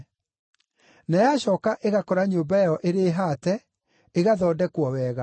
Na yacooka ĩgakora nyũmba ĩyo ĩrĩ haate, ĩgathondekwo wega.